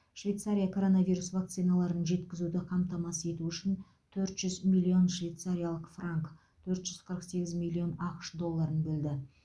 швейцария коронавирус вакциналарын жеткізуді қамтамасыз ету үшін төрт жүз миллион швейцариялық франк төрт жүз қырық сегіз миллион ақш долларын бөлді